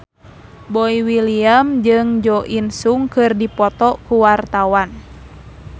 Boy William jeung Jo In Sung keur dipoto ku wartawan